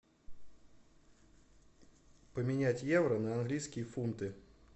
поменять евро на английские фунты